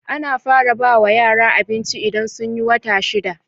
Ana fara bawa yara abinci idan sunyi wata shida